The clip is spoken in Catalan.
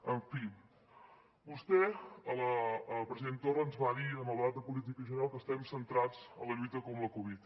en fi vostè president torra ens va dir en el debat de política general que estem centrats en la lluita contra la covid